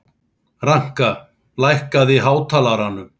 Ranka, lækkaðu í hátalaranum.